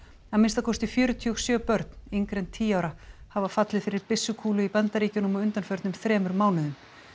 að minnsta kosti fjörutíu og sjö börn yngri en tíu ára hafa fallið fyrir byssukúlu í Bandaríkjunum á undanförnum þremur mánuðum